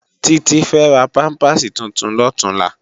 Titi fè rá pàmpásí tútún lòtúnlá